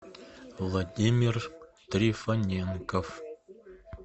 владимир трифоненков